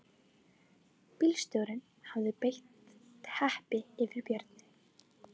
Bílstjórinn hafði breitt teppi yfir björninn